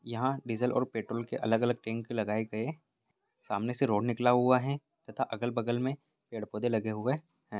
यहाँ डिसील और पेट्रोल के पंप अलग अलग टेंट लगाए गए सामने से रोड निकला हुआ है तथा अगल बगल में पेड़ पौधे लगे हुए हैं।